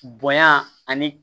Bonya ani